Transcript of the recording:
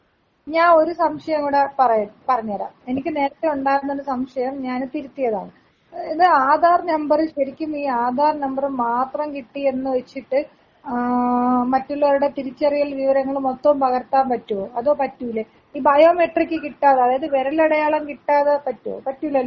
ഞാ ഒരു സംശയം കൂടെ പറയട്ടെ പറഞ്ഞേരാ എനിക്ക് നേരത്തെ ഉണ്ടായിരുന്നൊരു സംശയം ഞാന് തിരുത്തിയതാണ് ഇത് ആധാർ നമ്പറ് ശെരിക്കും ഈ ആധാർ നമ്പറ് മാത്രം കിട്ടി എന്ന് വെച്ചിട്ട് ഏ മറ്റുള്ളവരുടെ തിരിച്ചറിയൽ വിവരങ്ങൾ മൊത്തം പകർത്താൻ പറ്റോ അതോ പറ്റൂലെ ഈ ബയൊ മെട്രിക്ക് കിട്ടാ അതായത് വിരലടയാളം കിട്ടാതെ പറ്റോ പറ്റൂലല്ലോ.